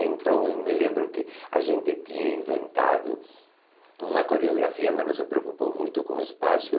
Então, eu me lembro que a gente tinha inventado uma coreografia, mas não se preocupou muito com o espaço.